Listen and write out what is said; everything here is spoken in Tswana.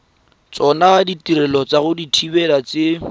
tsona ditirelo tsa dithibedi tse